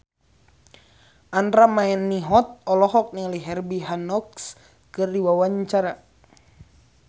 Andra Manihot olohok ningali Herbie Hancock keur diwawancara